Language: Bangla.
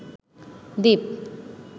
দ্বীপ